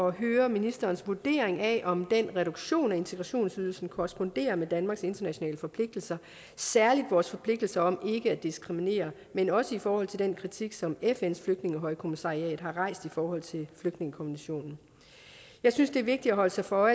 at høre ministerens vurdering af om den reduktion af integrationsydelsen korresponderer med danmarks internationale forpligtelser særligt vores forpligtelser om ikke at diskriminere men også i forhold til den kritik som fns flygtningehøjkommissariat har rejst i forhold til flygtningekonventionen jeg synes det er vigtigt at holde sig for